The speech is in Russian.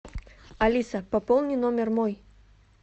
алиса пополни номер мой